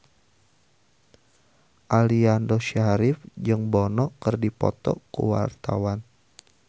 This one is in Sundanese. Aliando Syarif jeung Bono keur dipoto ku wartawan